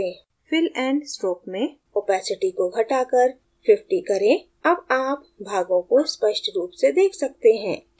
fill and stroke में opacity को घटाकर 50 करें अब आप भागों को स्पष्ट रूप से देख सकते हैं